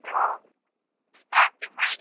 So ಆಯ್ತಾ ಹಂಗೆ ಮಾಡಿ.